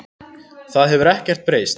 Það hefur ekkert breyst